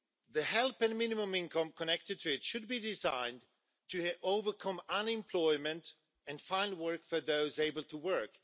The help and minimum income connected to it should be designed to help overcome unemployment and find work for those able to work.